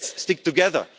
continent. Let's stick